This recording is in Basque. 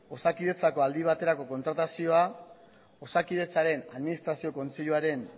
osakidetzako aldi baterako kontratazioa osakidetzaren administrazio kontseiluaren